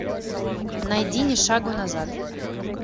найди ни шагу назад